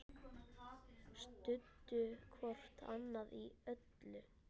Studdu hvort annað í öllu.